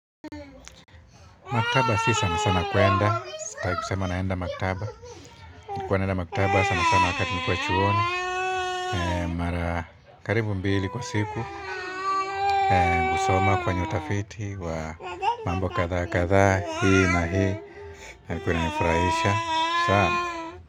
Maktaba si sana sana kwenda sitaki kusema naenda maktaba nilikuwa naenda maktaba sana sana wakati nikuwa chuoni mara karibu mbili kwa siku kusoma kufanya utafiti wa mambo kadhaa kadhaa. Hii na hii na ilikuwa ina nifurahisha. Sawa.